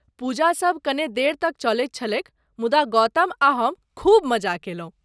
पूजासभ कने देर तक चलैत छलैक मुदा गौतम आ हम खूब मजा कयलहुँ।